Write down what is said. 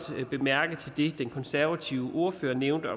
bemærke til det den konservative ordfører nævnte